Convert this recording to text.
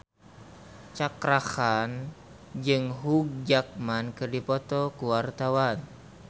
Cakra Khan jeung Hugh Jackman keur dipoto ku wartawan